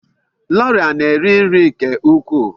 Laura na-eri nri nke ukwuu.